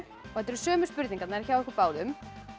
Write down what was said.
þetta eru sömu spurningarnar hjá ykkur báðum